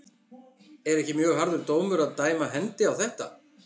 Er ekki mjög harður dómur að dæma hendi á þetta?